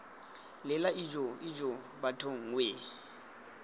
lela ijoo ijoo bathong wee